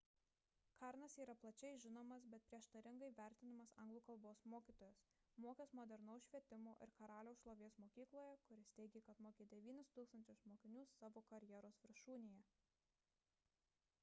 karnas yra plačiai žinomas bet prieštaringai vertinamas anglų kalbos mokytojas mokęs modernaus švietimo ir karaliaus šlovės mokykloje kuris teigė kad mokė 9000 mokinių savo karjeros viršūnėje